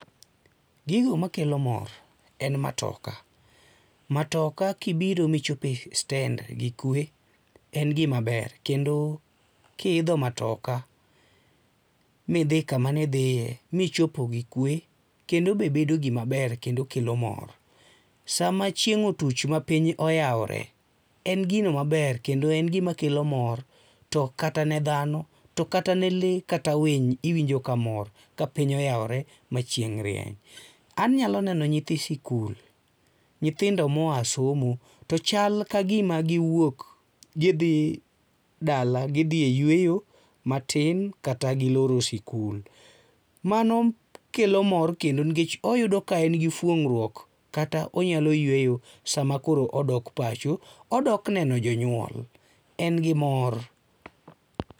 Gigo makelo mor en matoka, matoka kibiro michopo e stend gikwe, en gimaber kendo kiidho matoka midhi kama ne idhiye michopo gi kwe kendo be bedo gima ber kendo kelo mor. Sama chieng' otuch ma piny oyawore, en gino maber kendo en gino makelo mor to kata ne dhano to kata ne lee kata winy iwinjo ka mor kapiny oayawore ma chieng' rieny. Anyalo neno nyithi sikul, nyithindo moa somo to chal ka gima giwuok gidhi e yueyi matin kata giloro sikul. To mano kelo mor nikech oyudo ka en gi fuong'ruok kata onyalo yueyo sama koro odok pacho. Odok neno jonyuol, en gi mor.